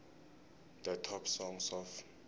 the top songs of